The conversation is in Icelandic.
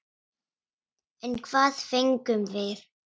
En hvað fengum við?